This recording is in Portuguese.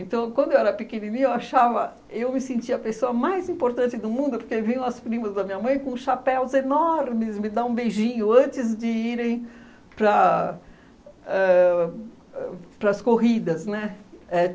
Então, quando eu era pequenininha, eu achava... eu me sentia a pessoa mais importante do mundo, porque vinham as primas da minha mãe com chapéus enormes me dar um beijinho antes de irem para... ãh ãh para as corridas, né? É